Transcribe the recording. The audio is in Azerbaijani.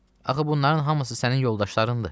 Axı bunların hamısı sənin yoldaşlarındır.